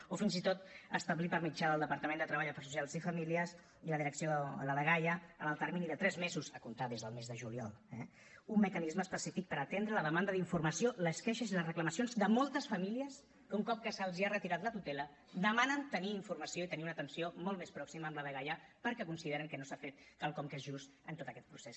o fins i tot establir per mitjà del departament de treball afers socials i famílies i la direcció de la dgaia en el termini de tres mesos a comptar des del mes de juliol eh un mecanisme específic per atendre la demanda d’informació les queixes i les reclamacions de moltes famílies que un cop que se’ls ha retirat la tutela demanen tenir informació i tenir una atenció molt més pròxima amb la dgaia perquè consideren que no s’ha fet quelcom que és just en tot aquest procés